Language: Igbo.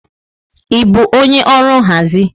Ị bụ onye ọrụ nhazi?